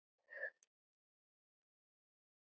Hún er aflöng og mjó.